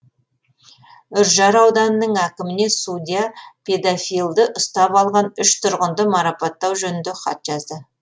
үржар ауданының әкіміне судья педофильді ұстап алған үш тұрғынды марапаттау жөнінде хат жазды